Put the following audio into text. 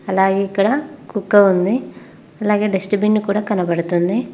అలాగే ఇక్కడ కుక్క ఉంది అలాగే డస్ట్ బిన్ కూడా కనబడుతుంది.